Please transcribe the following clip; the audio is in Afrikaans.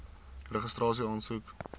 registrasieaansoek